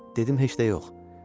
Dedim heç də yox.